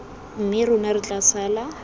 mme rona re tla sala